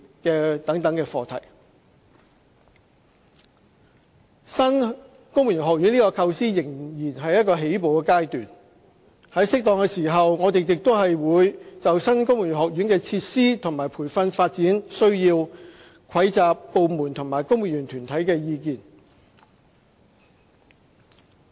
新的公務員學院這個構思仍在起步階段，在適當的時候，我們亦會就新公務員學院的設施和培訓發展需要蒐集部門和公務員團體的意見。